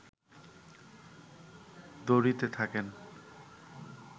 দৌড়িতে থাকেন